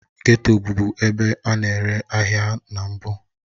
Geto bụbu ebe a na-ere ahịa na mbụ